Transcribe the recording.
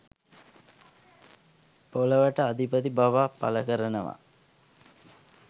පොළවට අධිපති බවක් පළ කරනවා.